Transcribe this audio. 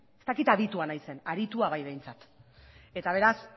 ez dakit aditua naizen aritua bai behintzat eta beraz